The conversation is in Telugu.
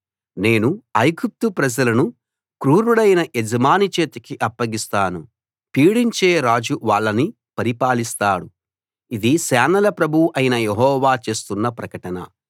నేను ఐగుప్తు ప్రజలను క్రూరుడైన యజమాని చేతికి అప్పగిస్తాను పీడించే రాజు వాళ్ళని పరిపాలిస్తాడు ఇది సేనల ప్రభువు అయిన యెహోవా చేస్తున్న ప్రకటన